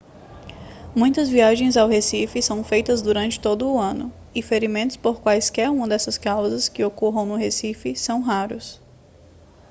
muitas viagens ao recife são feitas durante todo o ano e ferimentos por quaisquer uma dessas causas que ocorram no recife são raros